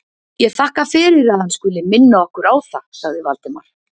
Ég þakka fyrir, að hann skuli minna okkar á það sagði Valdimar.